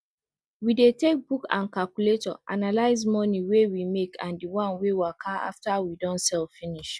we dey take book and calculator analyze moni wey we make and di wan wey waka after we don sell finish